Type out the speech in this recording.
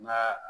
N ga